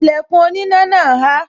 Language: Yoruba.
Ìlẹ̀kùn oníná náà há